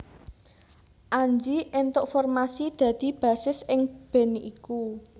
Anji éntuk formasi dadi bassis ing band iku